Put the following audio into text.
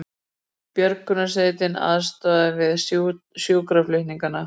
Björgunarsveit aðstoðaði við sjúkraflutning